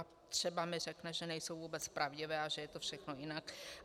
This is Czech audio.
A třeba mi řekne, že nejsou vůbec pravdivé a že je to všechno jinak.